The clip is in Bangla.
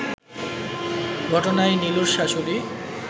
ঘটনায় নিলুর শ্বাশুড়ি